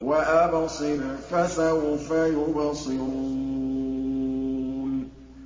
وَأَبْصِرْ فَسَوْفَ يُبْصِرُونَ